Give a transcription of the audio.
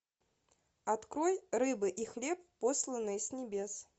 открой рыбы и хлеб посланные с небес